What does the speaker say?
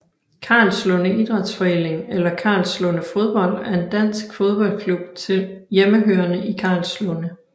Karlslunde Idrætsforening eller Karlslunde Fodbold er en dansk fodboldklub hjemmehørende i Karlslunde